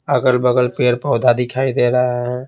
अगल-बगल पेड़- पौधा दिखाई दे रहे है।